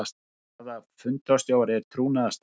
Staða fundarstjóra er trúnaðarstaða.